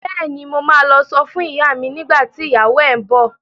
Bẹ́ẹ̀ni, mo ma lọ sọ fún ìyá mi nígbà tí ìyàwó ẹ ń bọ̀